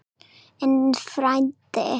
En frændi?